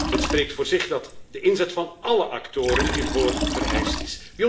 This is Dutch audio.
Het spreekt voor zich dat de inzet van alle actoren hiervoor vereist